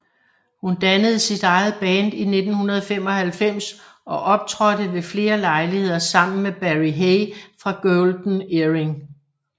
Hun dannede sit eget band i 1995 og optrådte ved flere lejligheder sammen med Barry Hay fra Golden Earring